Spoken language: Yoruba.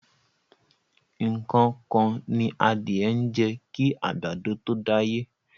Nǹkan kan ni adìẹ ń jẹ kí àgbàdo tó dáyé.